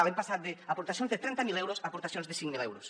hem passat d’aportacions de trenta mil euros a aportacions de cinc mil euros